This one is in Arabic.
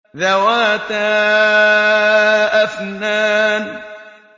ذَوَاتَا أَفْنَانٍ